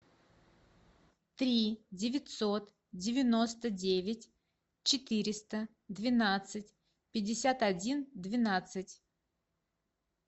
три девятьсот девяносто девять четыреста двенадцать пятьдесят один двенадцать